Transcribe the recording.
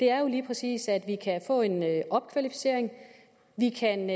er lige præcis at vi kan få en opkvalificering vi kan